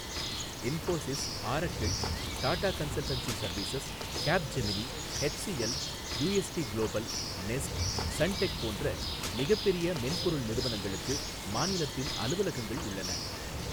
Infosys, Oracle, Tata consultancy services, Capgemini, HCL, UST global, Nest, Suntec போன்ற மிகப்பெரிய மென்பொருள் நிறுவனங்களுக்கு மாநிலத்தில் அலுவலகங்கள் உள்ளன.